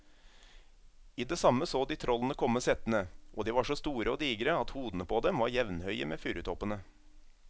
I det samme så de trollene komme settende, og de var så store og digre at hodene på dem var jevnhøye med furutoppene.